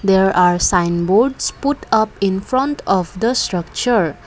there are sign boards put up in front of the structure.